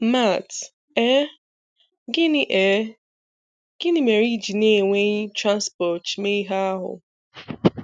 Matt: Ee, gịnị Ee, gịnị mere iji n'enweghị Transposh mee ihe ahụ?